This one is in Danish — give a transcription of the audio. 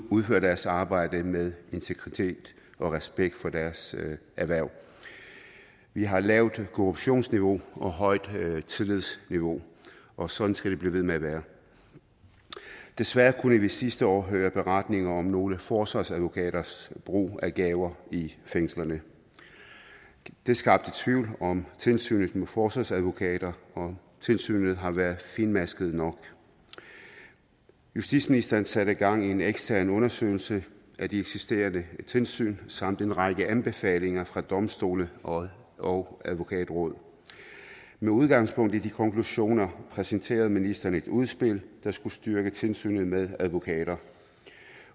udfører deres arbejde med integritet og respekt for deres erhverv vi har lavt korruptionsniveau og højt tillidsniveau og sådan skal det blive ved med at være desværre kunne vi sidste år høre beretninger om nogle forsvarsadvokaters brug af gaver i fængslerne det skabte tvivl om tilsynet med forsvarsadvokater og om tilsynet har været fintmasket nok justitsministeren satte gang i en ekstern undersøgelse af de eksisterende tilsyn samt en række anbefalinger fra domstole og og advokatrådet med udgangspunkt i de konklusioner præsenterede ministeren et udspil der skulle styrke tilsynet med advokater